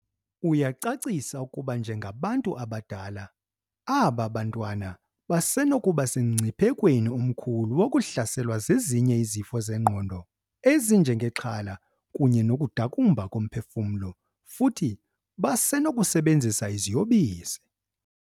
Uyacacisa ukuba njengabantu abadala, aba bantwana basenokuba semngciphekweni omkhulu wokuhlaselwa zezinye izifo zengqondo, ezinjengexhala kunye nokudakumba komphefumlo, futhi basenokusebenzisa iziyobisi.